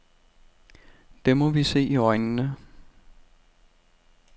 Det må vi se i øjnene.